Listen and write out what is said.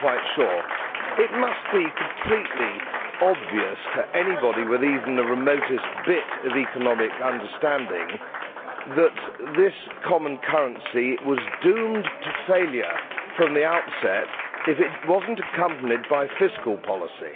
We are not quite sure. It must be completely obvious to anybody with even the remotest bit of economic understanding that this common currency was doomed to failure from the outset if it was not accompanied by fiscal policy.